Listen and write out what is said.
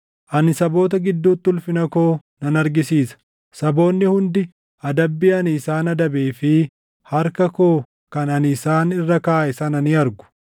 “Ani saboota gidduutti ulfina koo nan argisiisa; saboonni hundi adabbii ani isaan adabee fi harka koo kan ani isaan irra kaaʼe sana ni argu.